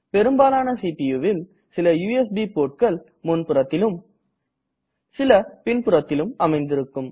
பெரும்பாலான CPUவில் சில யுஎஸ்பி portகள் முன்புறத்திலும் சில பின்புறத்திலும் அமைந்திருக்கும்